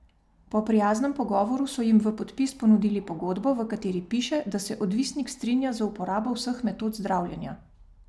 Po prijaznem pogovoru so jim v podpis ponudili pogodbo, v kateri piše, da se odvisnik strinja z uporabo vseh metod zdravljenja.